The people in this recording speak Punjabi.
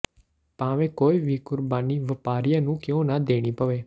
ਭਾਵੇਂ ਕੋਈ ਵੀ ਕੁਰਬਾਨੀ ਵਪਾਰੀਆਂ ਨੂੰ ਕਿਉਂ ਨਾ ਦੇਣੀ ਪਵੇ